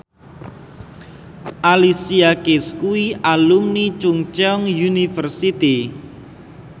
Alicia Keys kuwi alumni Chungceong University